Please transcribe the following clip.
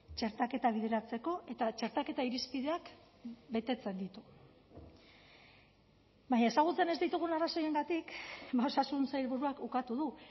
txertaketa bideratzeko eta txertaketa irizpideak betetzen ditu baina ezagutzen ez ditugun arrazoiengatik osasun sailburuak ukatu du